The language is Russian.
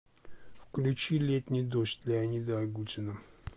включи летний дождь леонида агутина